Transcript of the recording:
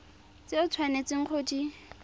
tse o tshwanetseng go di